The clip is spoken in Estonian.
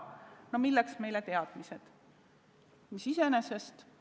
No milleks meile teadmised?!